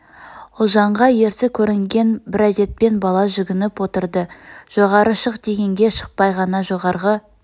ұлжанға ерсі көрнген бір әдетпен бала жүгініп отырды жоғары шық дегенге шықпай ғана жоғарғы